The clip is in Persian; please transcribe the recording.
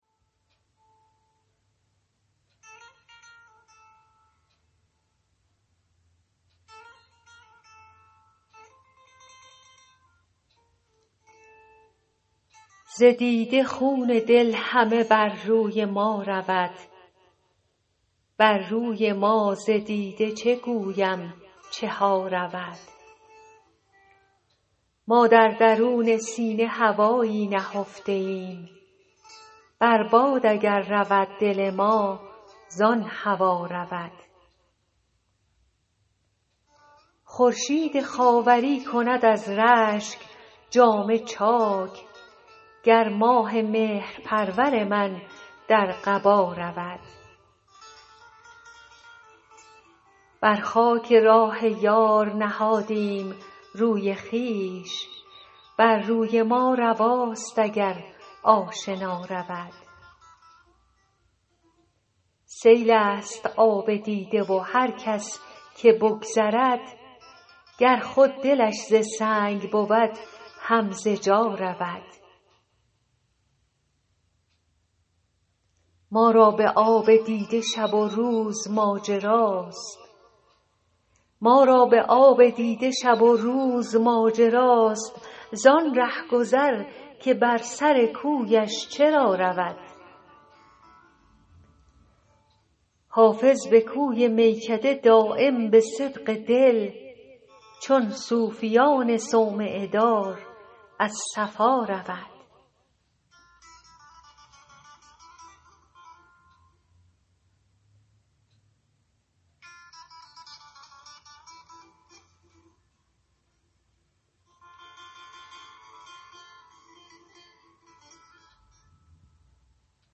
از دیده خون دل همه بر روی ما رود بر روی ما ز دیده چه گویم چه ها رود ما در درون سینه هوایی نهفته ایم بر باد اگر رود دل ما زان هوا رود خورشید خاوری کند از رشک جامه چاک گر ماه مهرپرور من در قبا رود بر خاک راه یار نهادیم روی خویش بر روی ما رواست اگر آشنا رود سیل است آب دیده و هر کس که بگذرد گر خود دلش ز سنگ بود هم ز جا رود ما را به آب دیده شب و روز ماجراست زان رهگذر که بر سر کویش چرا رود حافظ به کوی میکده دایم به صدق دل چون صوفیان صومعه دار از صفا رود